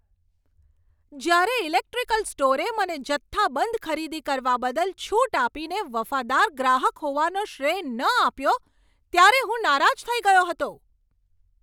જ્યારે ઇલેક્ટ્રિકલ સ્ટોરે મને જથ્થાબંધ ખરીદી કરવા બદલ છૂટ આપીને વફાદાર ગ્રાહક હોવાનો શ્રેય ન આપ્યો ત્યારે હું નારાજ થઈ ગયો હતો.